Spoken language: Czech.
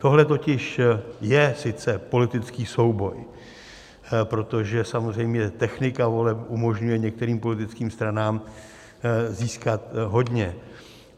Tohle totiž je sice politický souboj, protože samozřejmě technika voleb umožňuje některým politickým stranám získat hodně.